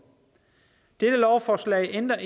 dette lovforslag ændrer